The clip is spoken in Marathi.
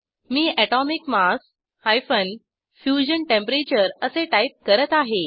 मी एटोमिक मास - फ्युजन टेम्परेचर असे टाईप करत आहे